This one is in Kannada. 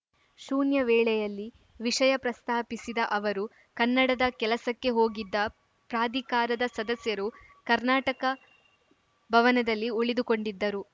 ಶೂನ್ಯ ವೇಳೆಯಲ್ಲಿ ವಿಷಯ ಪ್ರಸ್ತಾಪಿಸಿದ ಅವರು ಕನ್ನಡದ ಕೆಲಸಕ್ಕೆ ಹೋಗಿದ್ದ ಪ್ರಾಧಿಕಾರದ ಸದಸ್ಯರು ಕರ್ನಾಟಕ ಭವನದಲ್ಲಿ ಉಳಿದುಕೊಂಡಿದ್ದರು